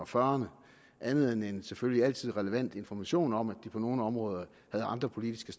fyrrerne andet end selvfølgelig altid relevant information om at de på nogle områder havde andre politiske